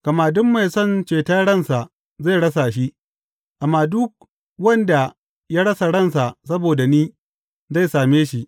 Gama duk mai son ceton ransa zai rasa shi, amma duk wanda ya rasa ransa saboda ni, zai same shi.